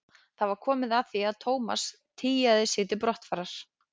Það var komið að því að Thomas tygjaði sig til brottfarar.